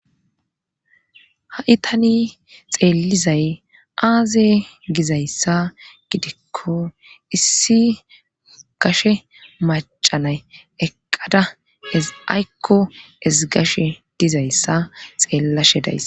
ha7i tani xeellizay aaze gizayssa gidikko issi gashe macanay eqqada ezaykko ezigashe dizayssa xeellashe dayssa